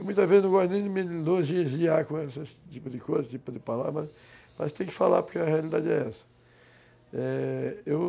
Eu, muitas vezes, não gosto nem de me elogiar com esse tipo de coisa, esse tipo de palavra, mas tem que falar porque a realidade é essa.